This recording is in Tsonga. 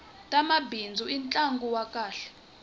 tamabindzu i ntlangu wa kahle